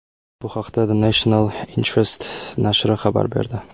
Bu haqda The National Interest nashri xabar berdi .